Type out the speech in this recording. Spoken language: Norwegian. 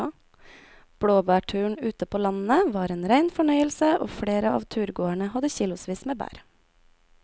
Blåbærturen ute på landet var en rein fornøyelse og flere av turgåerene hadde kilosvis med bær.